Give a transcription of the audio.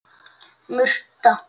Murta